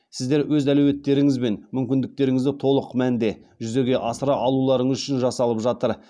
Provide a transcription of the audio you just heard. сіздер өз әлеуеттеріңіз бен мүмкіндіктеріңізді толық мәнде жүзеге асыра алуларыңыз үшін жасалып жатыр